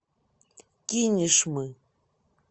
кинешмы